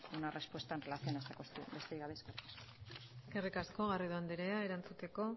una respuesta en relación a esta cuestión besterik gabe eskerrik asko eskerrik asko garrido andrea erantzuteko